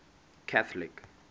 catholic